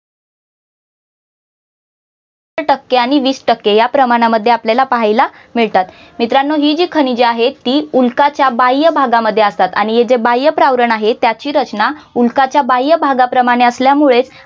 टक्के आणि वीस टक्के या प्रमाणामध्ये आपल्याला पाहायला मिळतात मित्रानो हि जी खनिजे आहेत ती उल्काच्या बाह्य भागामध्ये असतात आणि हे जे बाह्य प्रावरण आहे त्याची रचना उल्काच्या बाह्य भागाप्रमाणे असल्यामुळेच